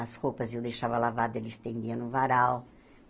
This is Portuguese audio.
As roupas eu deixava lavada, ele estendia no varal.